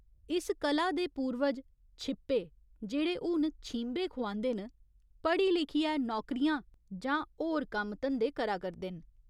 इस कला दे पूर्वज 'छिप्पे' जेह्ड़े हुन 'छींबे' खुआंदे न, पढ़ी लिखियै नौकरियां जां होर कम्म धंदे करा करदे न।